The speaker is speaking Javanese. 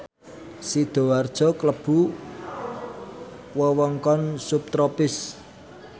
Sidoarjo klebu wewengkon subtropis